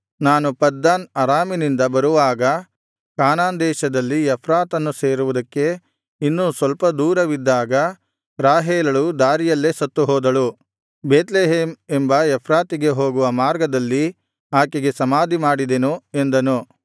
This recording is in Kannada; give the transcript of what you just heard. ನಾನು ಪದ್ದನ್ ಅರಾಮಿನಿಂದ ಬರುವಾಗ ಕಾನಾನ್ ದೇಶದಲ್ಲಿ ಎಫ್ರಾತನ್ನು ಸೇರುವುದಕ್ಕೆ ಇನ್ನೂ ಸ್ವಲ್ಪ ದೂರವಿದ್ದಾಗ ರಾಹೇಲಳು ದಾರಿಯಲ್ಲೇ ಸತ್ತುಹೋದಳು ಬೇತ್ಲೆಹೇಮ್ ಎಂಬ ಎಫ್ರಾತಿಗೆ ಹೋಗುವ ಮಾರ್ಗದಲ್ಲಿ ಆಕೆಗೆ ಸಮಾಧಿ ಮಾಡಿದೆನು ಎಂದನು